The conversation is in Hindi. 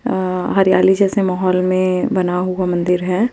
अ हरियाली जेसे माहोल में बना हुआ मंदिर है।